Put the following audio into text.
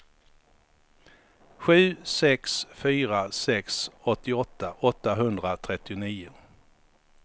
sju sex fyra sex åttioåtta åttahundratrettionio